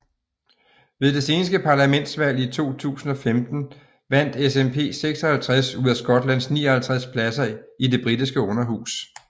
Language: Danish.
Ved det seneste parlamentsvalg i 2015 vandt SNP 56 ud af Skotlands 59 pladser i Det britiske Underhus